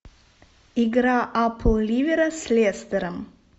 игра апл ливера с лестером